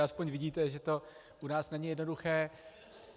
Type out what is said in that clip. Aspoň vidíte, že to u nás není jednoduché.